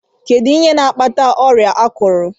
Kedụ ihe n'akpata ọrịa akurụ?